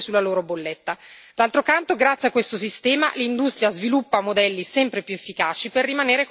D'altro canto, grazie a questo sistema, l'industria sviluppa modelli sempre più efficaci per rimanere competitiva sul mercato.